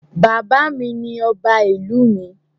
Bàbá mi ni ọba ìlú mi.